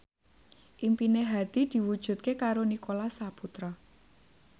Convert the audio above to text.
impine Hadi diwujudke karo Nicholas Saputra